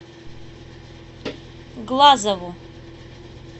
глазову